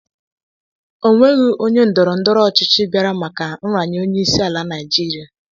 O nweghị onye ndọrọndọrọ ọchịchị bịara maka nraranye onyeisiala Naịjirịa.